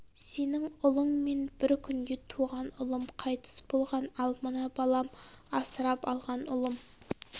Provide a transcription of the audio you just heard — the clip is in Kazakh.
сенің ұлыңмен бір күнде туған ұлым қайтыс болған ал мына балам асырап алған ұлым